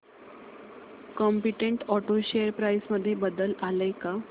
competent auto share price मध्ये बदल आलाय का